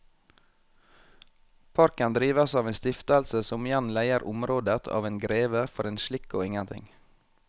Parken drives av en stiftelse som igjen leier området av en greve for en slikk og ingenting.